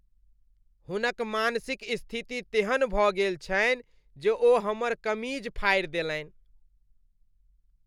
हुनक मानसिक स्थिति तेहन भऽ गेल छनि जे ओ हमर कमीज फाड़ि देलनि।